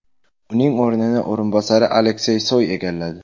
Uning o‘rnini o‘rinbosari Aleksey Soy egalladi.